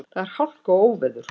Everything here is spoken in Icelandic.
Þar er hálka og óveður.